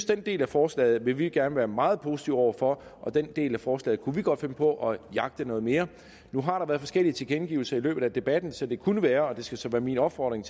den del af forslaget vil vi gerne være meget positive over for og den del af forslaget kunne vi godt finde på at jagte noget mere nu har der været forskellige tilkendegivelser i løbet af debatten så det kunne være og det skal så være min opfordring